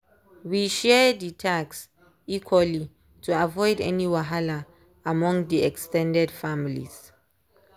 we share dey task equaly to avoid any wahala among dey ex ten ded families.